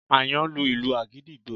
Àyàn ń lu ìlù àgídìgbo